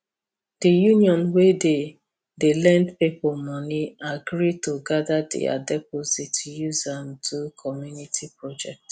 the union wey dey dey lend people money agree to gather their deposit use am do community project